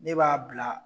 Ne b'a bila